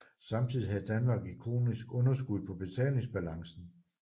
Samtidig havde Danmark et kronisk underskud på betalingsbalancen